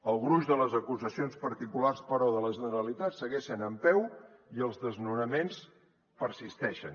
el gruix de les acusacions particulars però de la ge neralitat segueixen en peu i els desnonaments persisteixen